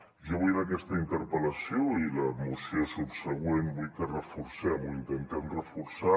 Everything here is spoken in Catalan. jo vull en aquesta interpel·lació i la moció subsegüent que reforcem o intentem reforçar